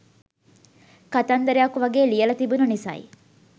කතන්දරයක් වගේ ලියල තිබුන නිසයි